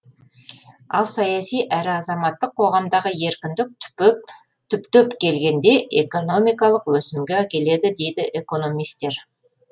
ал саяси әрі азаматтық қоғамдағы еркіндік түптеп келгенде экономикалық өсімге әкеледі дейді экономистер